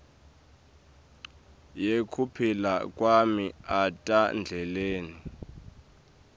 yekuphila kwami etandleni